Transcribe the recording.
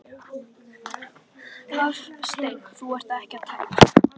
Hafsteinn: Þú ert ekki að telja?